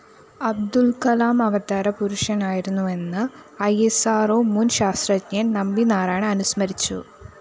Abdul‍ Kalam അവതാരപുരുഷനായിരുന്നുവെന്ന് E സ്‌ R ഓ മുന്‍ ശാസ്ത്രജ്ഞന്‍ നമ്പിനാരായണന്‍ അനുസ്മരിച്ചു